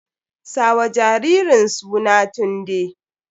Sa wa jaririn suna Tunde!